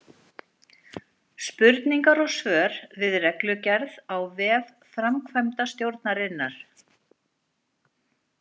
Spurningar og svör við reglugerð á vef framkvæmdastjórnarinnar.